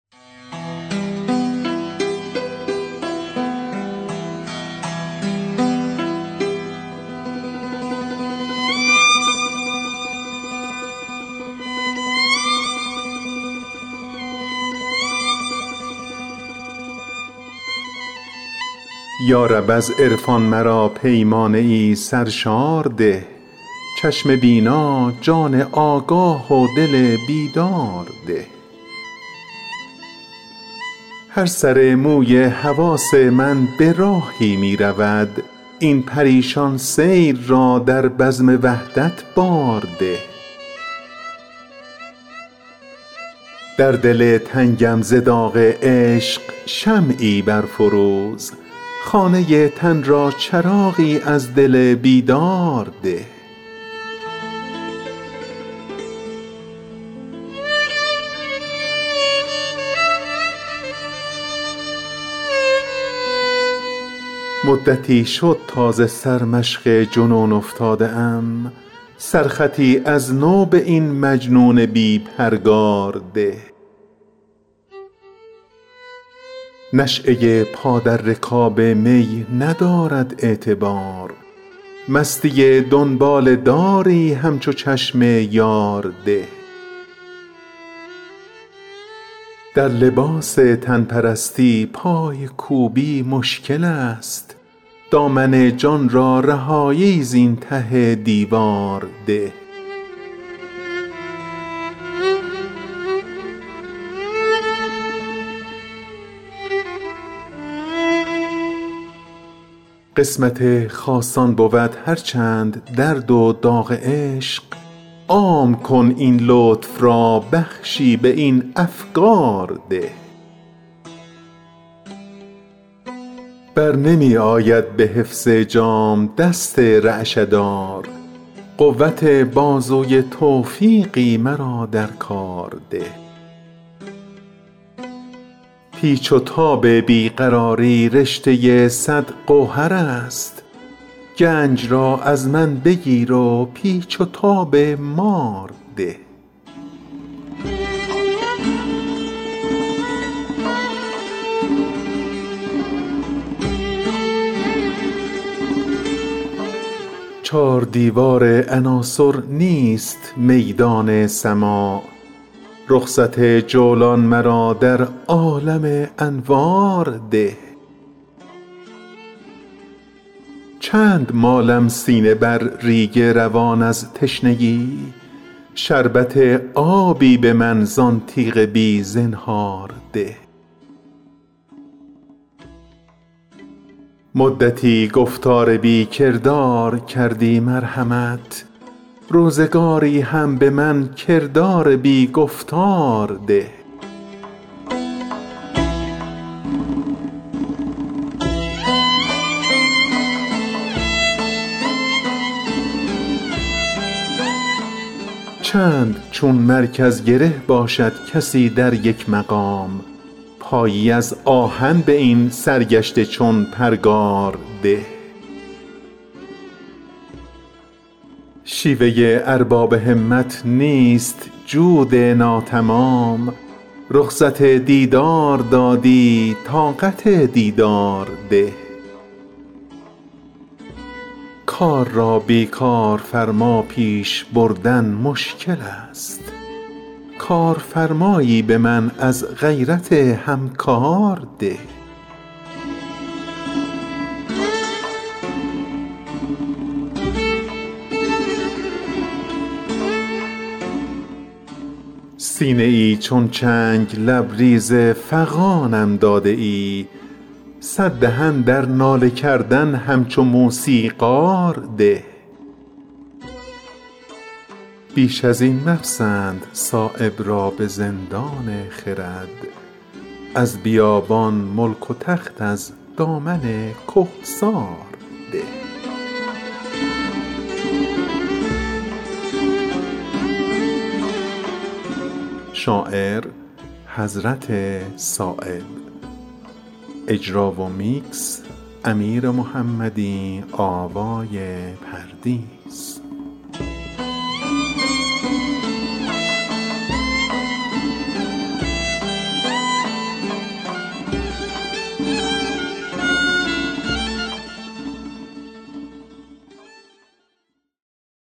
یارب از عرفان مرا پیمانه ای سرشار ده چشم بینا جان آگاه و دل بیدار ده هر سر موی حواس من به راهی می رود این پریشان سیر را در بزم وحدت بار ده در دل تنگم ز داغ عشق شمعی برفروز خانه تن را چراغی از دل بیدار ده مدتی شد تا ز سرمشق جنون افتاده ام سرخطی از نو به این مجنون بی پرگار ده نشیهء پا در رکاب می ندارد اعتبار مستی دنباله داری همچو چشم یار ده در لباس تن پرستی پایکوبی مشکل است دامن جان را رهایی زین ته دیوار ده قسمت خاصان بود هر چند درد و داغ عشق عام کن این لطف را بخشی به این افگار ده برنمی آید به حفظ جام دست رعشه دار قوت بازوی توفیقی مرا در کار ده پیچ و تاب بی قراری رشته صد گوهرست گنج را از من بگیر و پیچ و تاب مار ده چار دیوار عناصر نیست میدان سماع رخصت جولان مرا در عالم انوار ده چند مالم سینه بر ریگ روان از تشنگی شربت آبی به من زان تیغ بی زنهار ده مدتی گفتار بی کردار کردی مرحمت روزگاری هم به من کردار بی گفتار ده چند چون مرکز گره باشد کسی در یک مقام پایی از آهن به این سرگشته چون پرگار ده شیوه ارباب همت نیست جود ناتمام رخصت دیدار دادی طاقت دیدار ده کار را بی کارفرما پیش بردن مشکل است کارفرمایی به من از غیرت همکار ده سینه ای چون چنگ لبریز فغانم داده ای صددهن در ناله کردن همچو موسیقار ده بیش ازین مپسند صایب را به زندان خرد از بیابان ملک و تخت از دامن کهسار ده